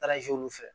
olu fɛ